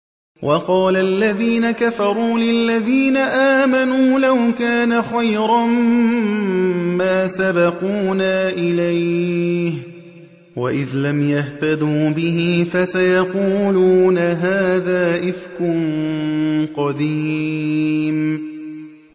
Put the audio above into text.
وَقَالَ الَّذِينَ كَفَرُوا لِلَّذِينَ آمَنُوا لَوْ كَانَ خَيْرًا مَّا سَبَقُونَا إِلَيْهِ ۚ وَإِذْ لَمْ يَهْتَدُوا بِهِ فَسَيَقُولُونَ هَٰذَا إِفْكٌ قَدِيمٌ